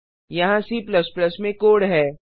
यहाँ C में code है